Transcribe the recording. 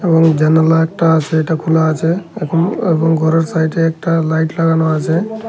এখন জানালা একটা আসে এটা খোলা আছে এখন এখন ঘরের সাইডে একটা লাইট লাগানো আছে।